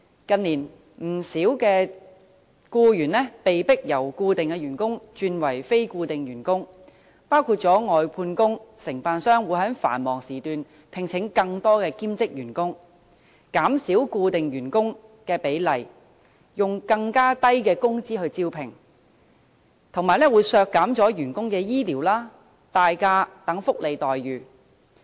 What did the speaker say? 近年，不少僱員被迫由固定員工轉為非固定員工，外判員工的情況也一樣，承辦商會在繁忙時段聘請更多兼職員工，減少固定員工的比例，又以更低的工資進行招聘，同時削減員工的醫療和年假等福利待遇。